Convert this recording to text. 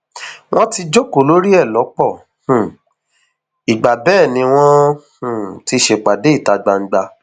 wọn ti jókòó lórí ẹ lọpọ um ìgbà bẹẹ ni wọn um ti ṣèpàdé ìta gbangba